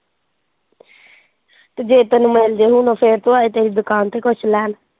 ਤੇ ਜੇ ਤੈਨੂੰ ਮੈਂ ਫਿਰ ਤੋਂ ਆਏ ਤੇਰੀ ਦੁਕਾਨ ਤੇ ਕੁਝ ਲੈਣ।